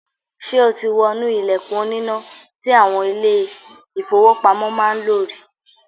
Ṣé o ti wọnú ilẹ̀kùn oníná tí àwọn ilé-ìfowópamọ́ máa ń lò rí?